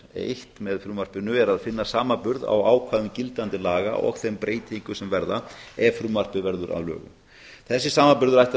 eitt með frumvarpinu er að finna samanburð á ákvæðum gildandi laga og þeim breytingum sem verða ef frumvarpið verður að lögum þessi samanburður ætti að